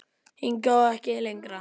Hingað og ekki lengra.